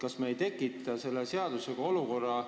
Kas me ei tekita selle seadusega raske olukorra?